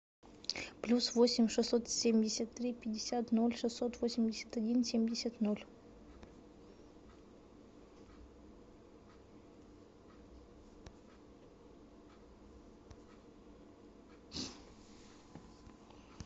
плюс восемь шестьсот семьдесят три пятьдесят ноль шестьсот восемьдесят один семьдесят ноль